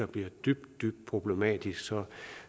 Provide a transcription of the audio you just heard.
bliver dybt dybt problematisk så